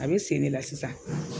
A be sen de la sisan